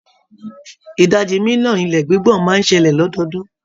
Ìdajì mílíọ̀nù ilẹ̀ gbígbọ̀n máa ń ṣẹlẹ̀ lọ́dọọ́dún.